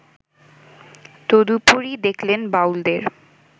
তদুপরি দেখলেন বাউলদের